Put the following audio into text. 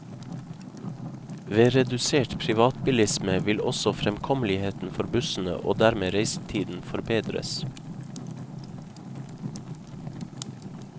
Ved redusert privatbilisme vil også fremkommeligheten for bussene og dermed reisetiden forbedres.